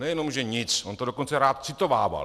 Nejenom že nic, on to dokonce rád citovával.